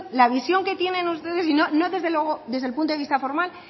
la visión que tienen ustedes y no desde luego desde el punto de vista formal